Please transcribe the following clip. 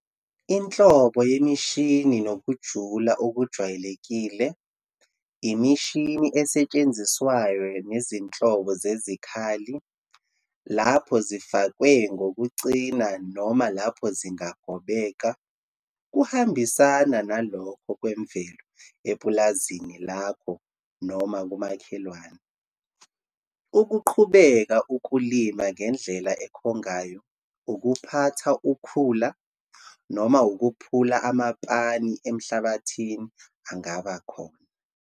Inhlobo yemishini nokujula okujwayelekile, imishini esetshenziswayo nezinhlobo zezikhali, lapho zifakwe ngokucina noma lapho zingagobheka, kuhambisana nalokho kwemvelo epulazini lakho noma kumakhelwane. Ukuqhubeka ukulima ngendlela ekhongayo, ukuphatha ukhula noma ukuphula amaphani emhlabathini angabakhona.